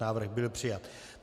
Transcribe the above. Návrh byl přijat.